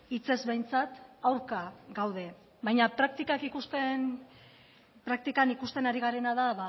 hitzez behintzat aurka gaude baina praktikan ikusten ari garena da